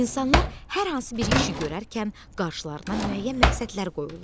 İnsanlar hər hansı bir işi görərkən qarşılarına müəyyən məqsədlər qoyurlar.